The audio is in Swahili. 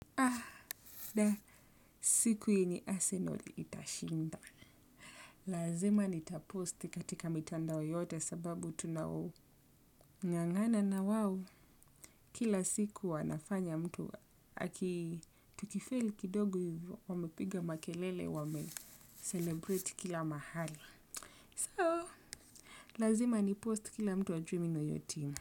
Ah, siku yenye arsenal itashinda. Lazima nitaposti katika mitandao yote sababu tunaongangana na wao. Kila siku wanafanya mtu, aki tukifeli kidogo wamepiga makelele, wamecelebrate kila mahali. So, lazima nipost kila mtu ajue mimi ni wa hiyo timu.